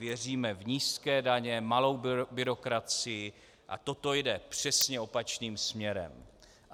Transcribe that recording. Věříme v nízké daně, malou byrokracii, a toto jde přesně opačným směrem.